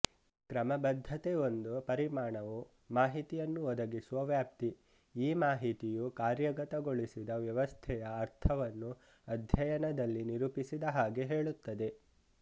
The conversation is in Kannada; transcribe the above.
ಕ್ರಮಬದ್ಧತೆ ಒಂದು ಪರಿಮಾಣವು ಮಾಹಿತಿಯನ್ನು ಒದಗಿಸುವ ವ್ಯಾಪ್ತಿ ಈ ಮಾಹಿತಿಯು ಕಾರ್ಯಗತಗೊಳಿಸಿದ ವ್ಯವಸ್ಥೆಯ ಅರ್ಥವನ್ನು ಅಧ್ಯಯನದಲ್ಲಿ ನಿರೂಪಿಸಿದ ಹಾಗೆ ಹೇಳುತ್ತದೆ